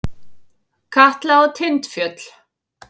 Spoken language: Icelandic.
Katla og Tindfjöll.